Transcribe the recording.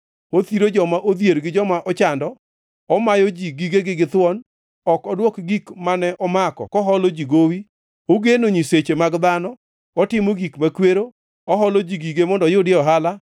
Othiro joma odhier gi joma ochando. Omayo ji gigegi githuon. Ok odwok gik mane omako koholo ji gowi. Ogeno nyiseche mag dhano. Otimo gik makwero. Oholo ji gige mondo oyudie ohala